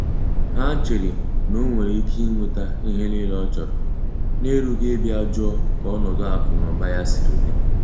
Ha chere na onwere Ike inweta ihe niile ọchọrọ n'erughị ịbịa jụọ ka ọnọdụ akụ na ụba ya siri di.